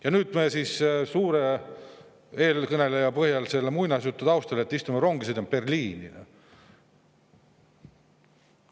Ja nüüd me siis suure eelkõneleja muinasjutu taustal istume rongi ja sõidame Berliini!?